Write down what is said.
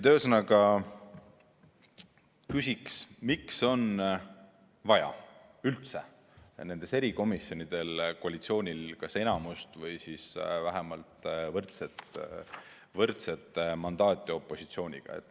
Ühesõnaga küsiks, miks on nendes erikomisjonides koalitsioonil vaja kas enamust või siis vähemalt võrdset mandaati opositsiooniga.